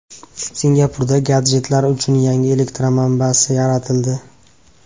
Singapurda gadjetlar uchun yangi elektr manbasi yaratildi.